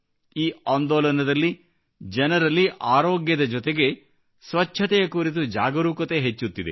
ಈ ಆಂದೋಲನದಿಂದ ಜನರಲ್ಲಿ ಆರೋಗ್ಯದ ಜೊತೆಗೆ ಸ್ವಚ್ಛತೆಯ ಕುರಿತು ಜಾಗರೂಕತೆ ಹೆಚ್ಚುತ್ತಿದೆ